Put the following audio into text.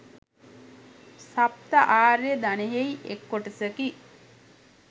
සප්ත ආර්ය ධනයෙහි එක් කොටසකි.